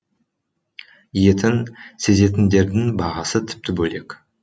етін сезетіндердің бағасы тіпті бөлек